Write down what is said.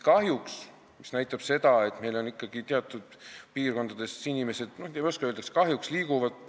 Kahjuks ikkagi teatud piirkondadest inimesed – ma ei oskagi öelda, kas sellest on kahju – liiguvad mujale.